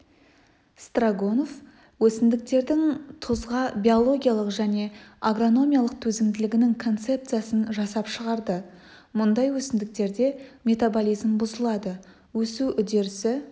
строгонов өсімдіктердің тұзға биологиялық және агрономиялық төзімділігінің концепциясын жасап шығарды мұндай өсімдіктерде метаболизм бұзылады өсу үдерісі